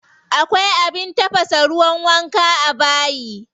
Akwai abin tafasa ruwan wanka a bayi.